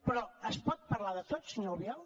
però es pot parlar de tot senyor albiol